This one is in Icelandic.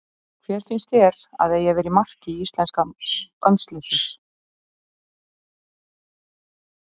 Hver finnst þér að eigi að vera í marki íslenska landsliðsins?